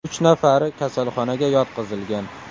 Uch nafari kasalxonaga yotqizilgan.